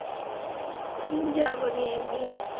উম যাবনি একদিন।